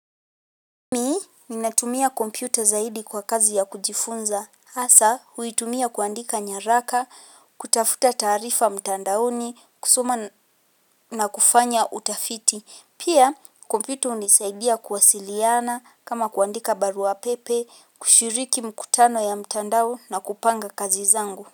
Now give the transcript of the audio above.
Ni, ninatumia kompyuta zaidi kwa kazi ya kujifunza, hasa huitumia kuandika nyaraka, kutafuta tarifa mtandaoni, kusoma na kufanya utafiti, pia kompyuta hunisaidia kuwasiliana, kama kuandika barua pepe, kushiriki mkutano ya mtandao na kupanga kazi zangu.